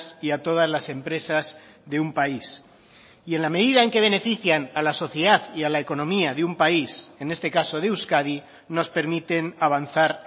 y a todas las empresas de un país y en la medida en que benefician a la sociedad y a la economía de un país en este caso de euskadi nos permiten avanzar